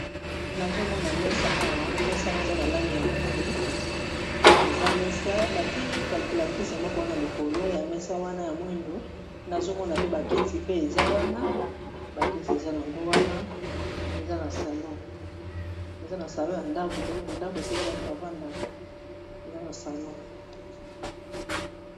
Nazomona mesa awa mesa yango eza na langi ya mwindu eza mesa batiye kalculatrice moko wana likolo ya mesa wana ya mwindu nazomona pe bakiti pe eza wana bakiti ezaango wana eza na salo ya ndako donc ndako esika bato bavandaka eza na salon